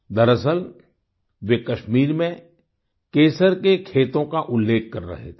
दरअसल वे कश्मीर में केसर के खेतों का उल्लेख कर थे